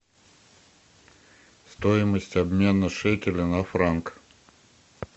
стоимость обмена шекеля на франк